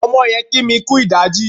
Ọmọdé yẹn kí mi kú ìdájí.